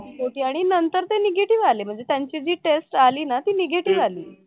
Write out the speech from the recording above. आणि नंतर ते negative आले म्हणजे त्यांचे जे test आली ना ते negative आली